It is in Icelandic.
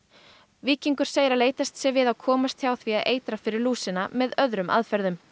víkingur segir að leitast sé við að komast hjá því að eitra fyrir lúsina með öðrum aðferðum